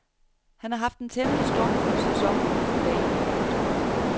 Han har haft en temmelig stormfuld sæson uden for banen. punktum